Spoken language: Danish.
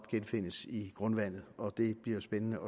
genfindes i grundvandet og det bliver spændende